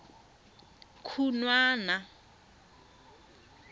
khunwana